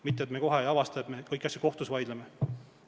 Muidu me avastame, et me kõikide asjade üle vaidleme kohtus.